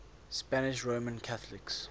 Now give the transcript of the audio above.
spanish roman catholics